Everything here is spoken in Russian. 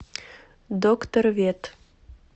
докторвет